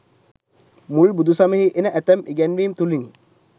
මුල් බුදු සමයෙහි එන ඇතැම් ඉගැන්වීම් තුළිනි.